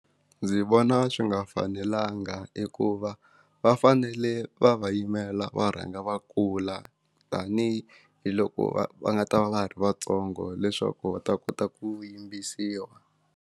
Ndzi vona swi nga fanelanga hikuva va fanele va va yimela va rhanga va kula tani hi hi loko va va nga ta va va ha ri vatsongo leswaku va ta kota ku yimbisiwa.